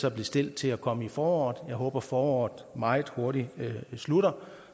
er bestilt til at komme i foråret jeg håber at foråret meget hurtigt slutter